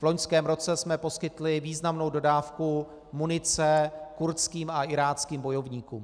V loňském roce jsme poskytli významnou dodávku munice kurdským a iráckým bojovníkům.